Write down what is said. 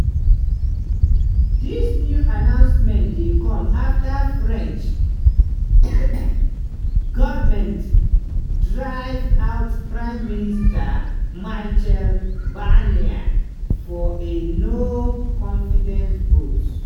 dis new announcement dey come afta french govment drive out prime minister michel barnier for a no-confidence vote.